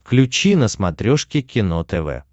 включи на смотрешке кино тв